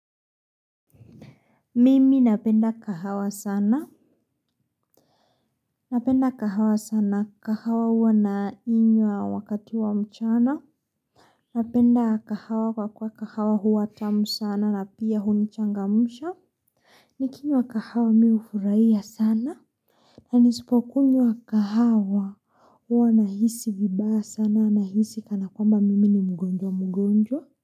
Mimi napenda kahawa sana. Napenda kahawa sana. Kahawa huwa na inywa wakati wa mchana. Napenda kahawa kwa kuwa kahawa huwa tamu sana na pia hunichangamsha. Nikinywa kahawa mihufurahia sana. Na nisipokunywa kahawa huwa na hisi vibaya sana na hisi kana kwamba mimi ni mgonjwa mgonjwa.